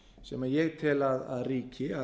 sem ég tel að ríki